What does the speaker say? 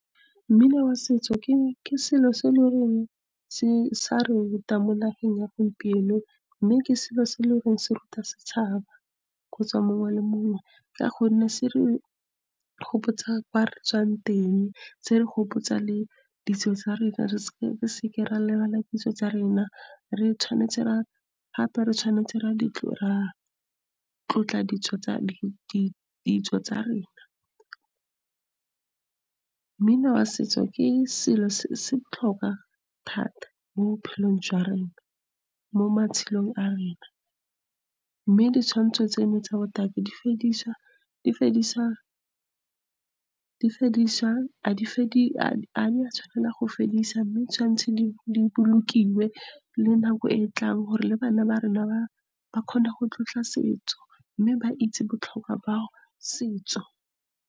Mmino wa setso ke selo se e leng gore se a re ruta mo nageng ya gompieno. Mme ke selo se e e leng gore se ruta setšhaba kgotsa mongwe le mongwe, ka gonne se re gopotsa kwa re tswang teng, se re gopotsa le ditso tsa rena, re seke ra lebala ditso tsa rena, re tshwanetse ra tlotla ditso tsa rena. Mmino wa setso ke selo se se botlhokwa thata mo matshelong a rena. Mme ditshwantsho tse tsa botakin ga di a tshwanela go fedisiwa, mme tshwanetse di bolokiwe le nako e e tlang gore le bana ba rena ba kgone go tlotla setso, mme ba itse botlhokwa ba setso.